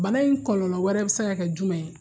Bana in kɔlɔlɔ wɛrɛ bɛ se ka kɛ jumɛn ye?